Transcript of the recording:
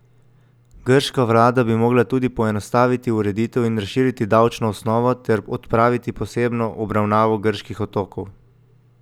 Grška vlada bi morala tudi poenostaviti ureditev in razširiti davčno osnovo ter odpraviti posebno obravnavo grških otokov.